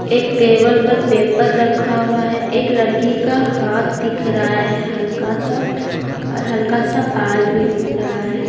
एक टेबल पर पेपर रखा हुआ है एक लड़की का हाथ दिख रहा है हल्का सा और हल्का सा बाल भी दिख रहा है।